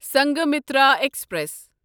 Sanghamitra express